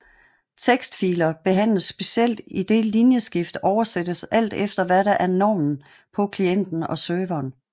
Tekstfiler behandles specielt idet linjeskift oversættes alt efter hvad der er normen på klienten og serveren